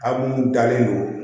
A bulu dalen don